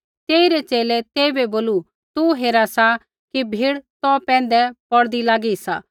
तेइरै च़ेले तेइबै बोलू तू हेरा सा कि भीड़ तौ पैंधै पौड़दी लागी सा होर तू बोला सा कि हांऊँ कुणिऐ छ़ुँगू